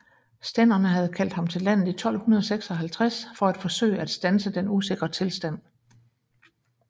Stænderne havde kaldt ham til landet i 1256 for at forsøge at standse den usikre tilstand